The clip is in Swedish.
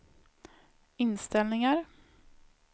inställningar